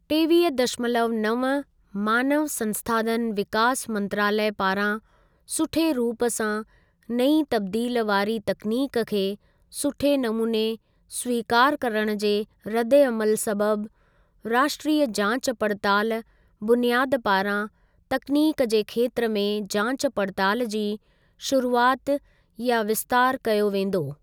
टेवीह दशमलव नव मानव संसाधन विकास मंत्रालय पारां सुठे रूप सां नईं तब्दील वारी तकनीक खे सुठे नमूने स्वीकार करणु जे रद्देअमल सबबि, राष्ट्रीय जाच पड़ताल बुनियाद पारां तकनीक जे खेत्र में जांच पड़ताल जी शुरूआति या विस्तार कयो वेंदो।